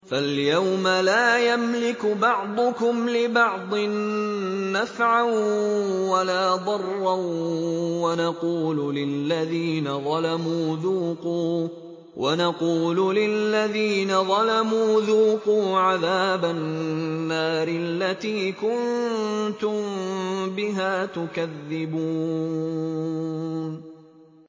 فَالْيَوْمَ لَا يَمْلِكُ بَعْضُكُمْ لِبَعْضٍ نَّفْعًا وَلَا ضَرًّا وَنَقُولُ لِلَّذِينَ ظَلَمُوا ذُوقُوا عَذَابَ النَّارِ الَّتِي كُنتُم بِهَا تُكَذِّبُونَ